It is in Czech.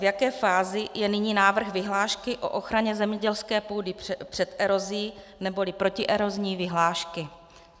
V jaké fázi je nyní návrh vyhlášky o ochraně zemědělské půdy před erozí neboli protierozní vyhlášky?